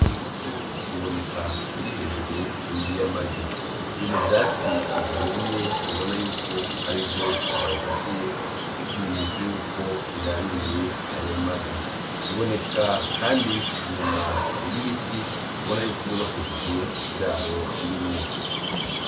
Iyo nkoko iboneka iri hejuru y'amagi. Iri mu vyatsi vyumye kandi ubona yuko arivyo bayisasiye nk'ikimenyetso yuko iraririye ayo magi. Iboneka kandi inyuma y'ibiti ubona yuko vyubakishije ikiraro irimwo.